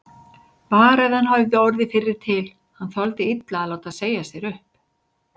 Bara ef hann hefði orðið fyrri til, hann þoldi illa að láta segja sér upp.